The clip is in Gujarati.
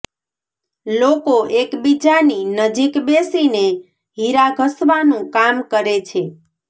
લોકો એકબીજાની નજીક બેસીને હિરા ઘસવાનું કામ કરે છે